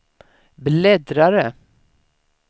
bläddrare